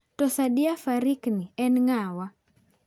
To Sadiya Farouq ni en ng'awa?